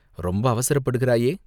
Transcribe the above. ரொம்ப அவசரப்படுகிறாயே